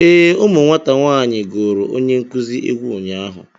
Ee, ụmụ nwata nwaanyị gụrụ onye nkuzi egwu ụnyaahụ